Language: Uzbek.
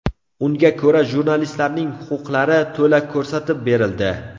Unga ko‘ra, jurnalistlarning huquqlari to‘la ko‘rsatib berildi.